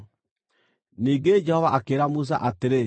Ningĩ Jehova akĩĩra Musa atĩrĩ,